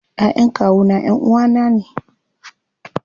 Ƴaƴan kawuna ƴanʼuwa na ne.